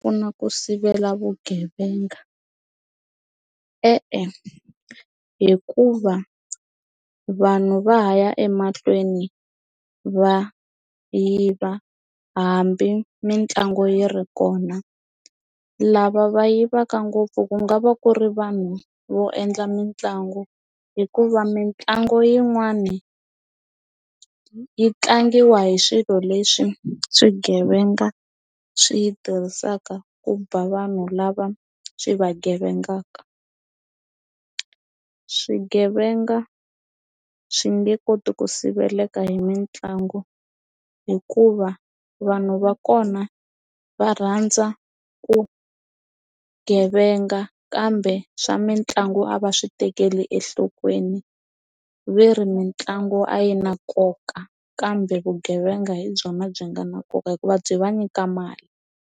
Ku sivela vugevenga e-e hikuva vanhu va ha ya emahlweni va yiva hambi mitlangu yi ri kona lava va yivaka ngopfu ku nga va ku ri vanhu vo endla mitlangu hikuva mitlangu yin'wani yi tlangiwa hi swilo leswi swigevenga swi yi tirhisaka ku ba vanhu lava swi vugevengaka swigevenga swi nge koti ku siveleka hi mitlangu hikuva vanhu va kona va rhandza ku gevenga kambe swa mitlangu a va swi tekeli enhlokweni veri mitlangu a yi na nkoka kambe vugevenga hi byona byi nga na nkoka hikuva byi va nyika mali.